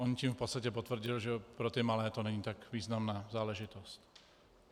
On tím v podstatě potvrdil, že pro ty malé to není tak významná záležitost.